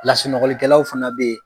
Lasunɔgɔlikɛlaw fana bɛ yen.